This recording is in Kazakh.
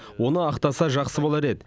оны ақтаса жақсы болар еді